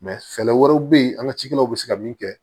fɛɛrɛ wɛrɛw bɛ yen an ka cikɛlaw bɛ se ka min kɛ